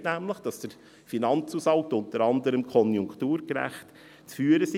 Darin steht nämlich, dass der Finanzhaushalt unter anderem konjunkturgerecht zu führen sei.